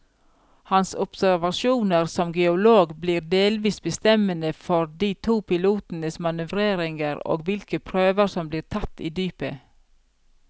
Hans observasjoner som geolog blir delvis bestemmende for de to pilotenes manøvreringer og hvilke prøver som blir tatt i dypet.